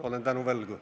Olen tänu võlgu.